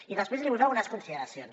i després li vull fer algunes consideracions